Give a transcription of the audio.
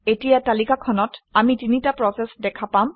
এতিয়া তালিকাখনত আমি তিনিটা প্ৰচেচ দেখা পাম